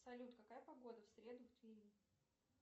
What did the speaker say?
салют какая погода в среду в твери